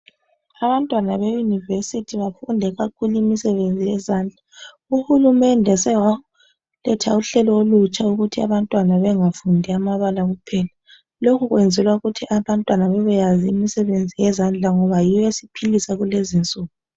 Abantwana beYunivesi bafunde kakhulu imisebenzi yezandla. Uhulumende sewaletha uhlelo olutsha ukuthi abantwana bengafundi amabala kuphela. Lokho kwenzelwa ukuthi abantwana babyeyazi imisebenzi yezandla ngoba yiyo esiphilisa kulezi insuku.